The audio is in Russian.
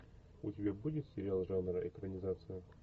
у тебя будет сериал жанра экранизация